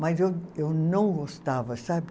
Mas eu eu não gostava, sabe?